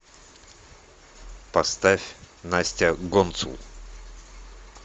поставь настя гонцул